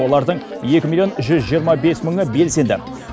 олардың екі миллион жүз жиырма бес мыңы белсенді